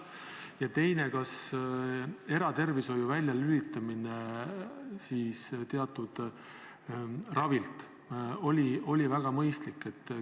Ja teine: kas eratervishoiu väljalülitamine teatud ravist oli ikka mõistlik?